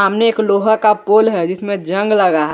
सामने एक लोहा का पोल है जिसमें जंग लगा है।